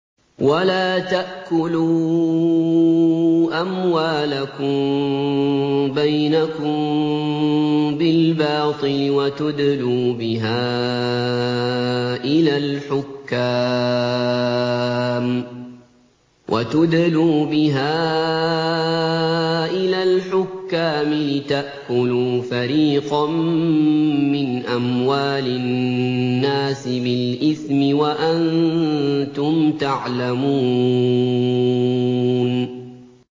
وَلَا تَأْكُلُوا أَمْوَالَكُم بَيْنَكُم بِالْبَاطِلِ وَتُدْلُوا بِهَا إِلَى الْحُكَّامِ لِتَأْكُلُوا فَرِيقًا مِّنْ أَمْوَالِ النَّاسِ بِالْإِثْمِ وَأَنتُمْ تَعْلَمُونَ